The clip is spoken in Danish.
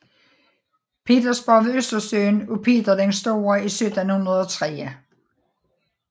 Petersborg ved Østersøen af Peter den Store i 1703